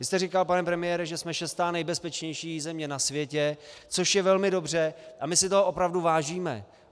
Vy jste říkal, pane premiére, že jsme šestá nejbezpečnější země na světě, což je velmi dobře a my si toho opravdu vážíme.